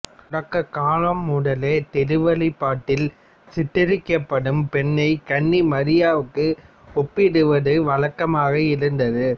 தொடக்கக் காலம் முதலே திருவெளிப்பாட்டில் சித்தரிக்கப்படும் பெண்ணை கன்னி மரியாவுக்கு ஒப்பிடுவது வழக்கமாக இருந்தது